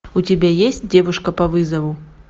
у тебя есть девушка по вызову